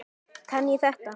Kann ég þetta?